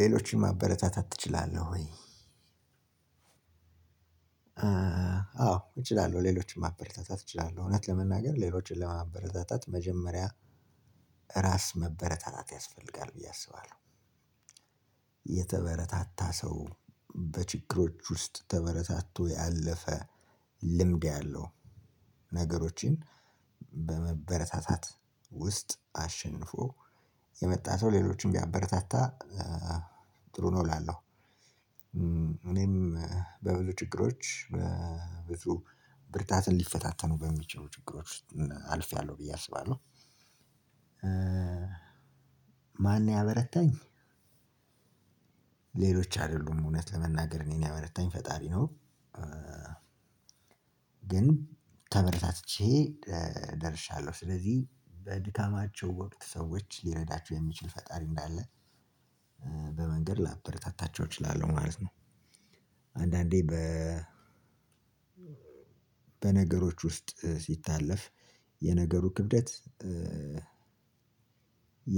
ሌሎችን ማበረታታት እችላለህ ወይ? አዎ እችላለሁ ሌሎችን ማበረታታት እችላለሁ። እውነት ለመናገር ሌሎችን ለማበረታታት መጀመሪያ እራስ መበረታታት ያስፈልጋል ብዬ አስባለሁ። የተበረታታ ሰው በችግሮች ውስጥ ተበረታትቶ ያለፈ ልምድ ያለው ነገሮችን በመበረታታት ውስጥ አሸንፎ የመጣ ሰው ሌሎችንም ቢያበረታታ ጥሩ ነው እላለሁ። እኔም በብዙ ችግሮች ብዙ ብርታት ሊፈታተኑ በሚችሉ ችግሮች ውስጥ አልፌያለሁ ብዬ አስባለሁ። ማነው ያበረታኝ? ሌሎች አይደሉም እውነት ለመናገር እኔን ያበረታኝ ፈጣሪ ነው። ግን ተበረታትቼ ደርሻለሁ ስለዚህ በድካማቸው ወቅት ሰዎች ሊረዳቸው የሚችል ፈጣሪ እንዳለ በመንገድ ላበረታታቸው እችላለሁ ማለት ነው። አንዳንዴ በ በነገሮች ውስጥ ሲታለፍ የነገሩ ክብደት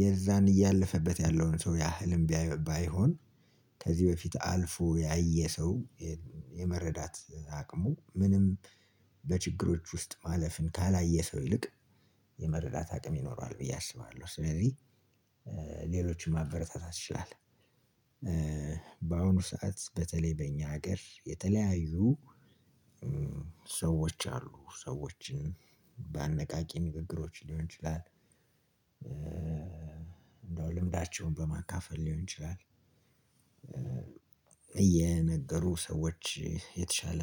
የዛን እያለፈበት ያለውን ሰው ያህልም ባይሆን ከዚ በፊት አልፎ ያየ ሰው የመረዳት አቅሙ ምንም በችግሮች ውስጥ ማለፍን ካላየ ሰው ይልቅ የመረዳት አቅም ይኖሯል ብዬ አስባለሁ ስለዚህ ሌሎችን የማበረታታት አቅም ይኖሯል። በአሁኑ ሰዓት በተለይ በኛ ሀገር የተለያዩ ሰዎች አሉ ሰዎች በአነቃቂ ንግግሮች ሊሆን ይችላል እንደው ልምዳቸውን በማካፈል ሊሆን ይችላል። እየነገሩ ሰዎች የተሻለ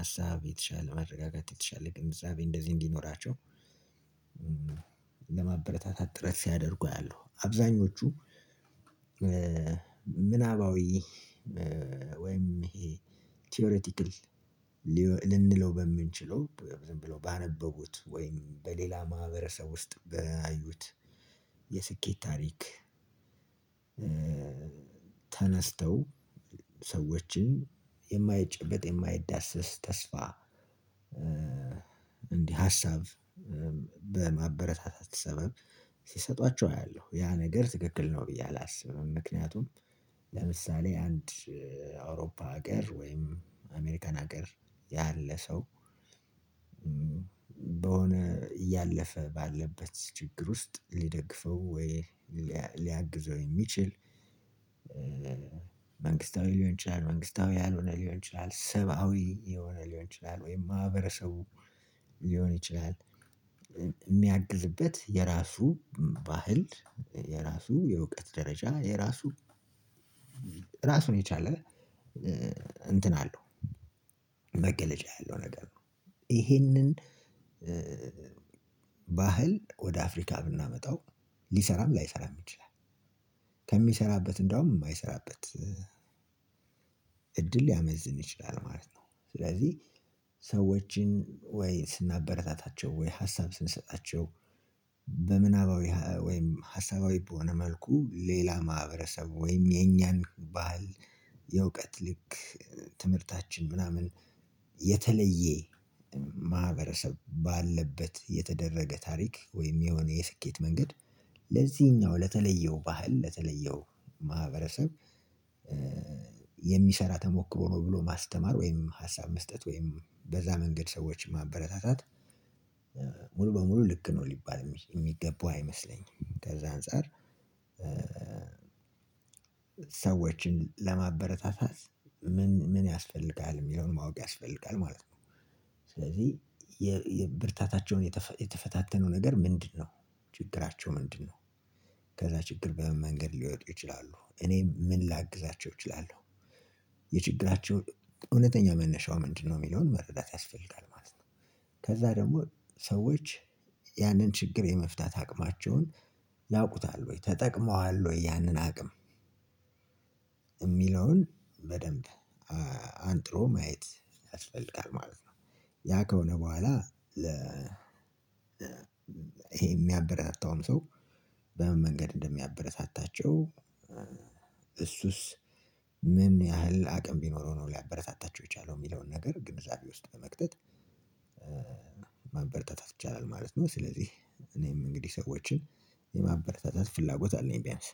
ሀሳብ የተሻለ መረጋጋት የተሻለ ግንዛቤ እንደዚህ እንዲኖራቸው ለማበረታታት ጥረት ሲያደርጉ አያለሁ አብዛኞቹ። ምናባዊ ወይም ይሄ ቲዎሪቲካል ልንለው በምንችለው ዝም ብለው ባነበቡት ወይም በሌላ ማህበረሰብ ውስጥ ባዩት የስኬት ታሪክ ተነስተው ሰዎችን የማይጨበጥ የማይዳሰስ ተስፋ እንዲህ ሀሳብ በማበረታታት ሰበብ ሲሰጧቸው አያለሁ ያ ነገር ትክክል ነው ብዬ አላስብም። ምክንያቱም ለምሳሌ አንድ አውሮፓ ሀገር ወይም አሜሪካን ሀገር ያለ ሰው በሆነ እያለፈ ባለበት ችግር ውስጥ ሊደግፈው ወይ ሊያግዘው የሚችል። መንግስታዊ ሊሆን ይችላል መንግስታዊ ያልሆነ ሊሆን ይችላል ሰብአዊ የሆነ ሊሆን ይችላል ወይም ማህበረሰቡ ሊሆን ይችላል። የሚያግዝበት የራሱ ባህል የራሱ የእውቀት ደረጃ የራሱ ራሱን የቻለ እንትን አለው መገለጫ ያለው ነገር ነው። ይሄንን ባህል ወደ አፍሪካ ብናመጣው ሊሰራም ላይሰራም ይችላል ከሚሰራበት እንደውም የማይሰራበት እድል ሊያመዝን ይችላል ማለት ነው። ስለዚህ ሰዎችን ወይ ስናበረታታቸው ወይ ሀሳብ ስንሰጣቸው በምናባዊ ወይም ሀሳባዊ በሆነ መልኩ ሌላን ማህበረሰብ ወይም የኛን ባህል የእውቀት ልክ ትምህርታችን ምናምን የተለየ ማህበረሰብ ባለበት የተደረገ ታሪክ ወይም የሆነ የስኬት መንገድ ለዚህኛው ለተለየው ባህል ለተለየው ማህበረሰብ የሚሰራ ተሞክሮ ነው ብሎ ማስተማር ወይም ሀሳብ መስጠት ወይም በዛ መንገድ ሰዎችን ማበረታታት። ሙሉ በሙሉ ልክ ነው ሊባል የሚገባው አይመስለኝም። ከዛ አንፃር ሰዎችን ለማበረታታት ምን ያስፈልጋል የሚለውን ማወቅ ያስፈልጋል ማለት ነው። ስለዚህ የብርታታቸውን የተፈታተነው ነገር ምንድነው? ችግራቸው ምንድነው? ከዛ ችግር በምን መንገድ ሊወጡ ይችላሉ እኔም ምን ላግዛቸው እችላለሁ። የችግራቸው እውነተኛ መነሻው ምንድነው? የሚለውን መረዳት ያስፈልጋል ማለት ነው። ከዛ ደግሞ ሰዎች ያንን ችግር የመፍታት አቅማቸውን ያውቁታል ወይ ተጠቅመዋል ወይ ያንን አቅም የሚለውን በደንብ አንጥሮ ማየት ያስፈልጋል ማለት ነው። ያ ከሆነ በኋላ ይሄ የሚያበረታውም ሰው በምን መንገድ እንደሚያበረታታቸው? እሱስ ምን ያህል አቅም ቢኖረው ነው ሊያበረታታቸው የቻለው የሚለውን ሚለውን ነገር ግንዛቤ ውስጥ በመክተት ማበረታታት ይቻላል ማለት ነው። ስለዚህ እኔም እንግዲህ ሰዎችን የማበረታታት ፍላጎት አለኝ ቢያንስ